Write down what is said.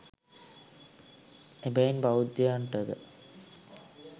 එබැවින් බෞද්ධයනට ද